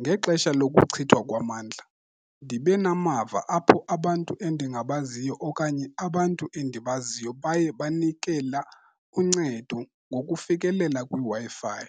Ngexesha lokuchithwa kwamandla ndibe namava apho abantu endingabaziyo okanye abantu endibaziyo baye banikela uncedo ngokufikelela kwiWi-Fi.